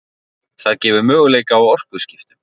það gefur möguleika á orkuskiptum